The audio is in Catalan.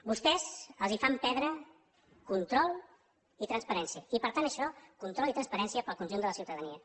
vostès els fan perdre control i transparència i per tant això control i transparència per al conjunt de la ciutadania